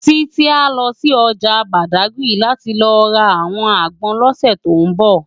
Titi á lò si òjá Bádágiri láti lò rá áwòn ágbòn lòsè tó nbò